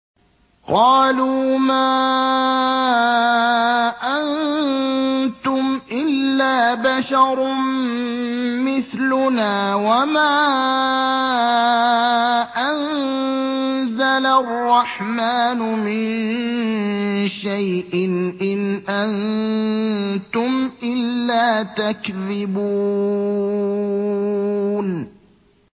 قَالُوا مَا أَنتُمْ إِلَّا بَشَرٌ مِّثْلُنَا وَمَا أَنزَلَ الرَّحْمَٰنُ مِن شَيْءٍ إِنْ أَنتُمْ إِلَّا تَكْذِبُونَ